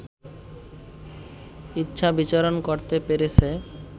ইচ্ছা বিচরণ করতে পেরেছে